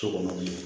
So kɔnɔ